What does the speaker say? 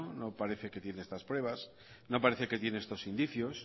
no parece que tiene estas pruebas no parece que tiene estos indicios